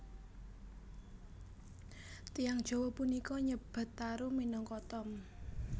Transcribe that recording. Tiyang Jawa punika nyebat tarum minangka tom